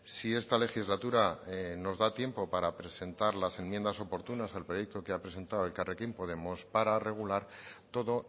si esta legislatura nos da tiempo para presentar las enmiendas oportunas al proyecto que ha presentado elkarrekin podemos para regular todo